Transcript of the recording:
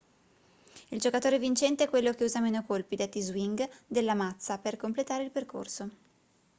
il giocatore vincente è quello che usa meno colpi detti swing della mazza per completare il percorso